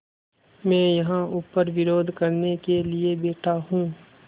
मैं यहाँ ऊपर विरोध करने के लिए बैठा हूँ